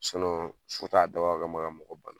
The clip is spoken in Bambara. so t'a dabɔ a kama ka mɔgɔ bana.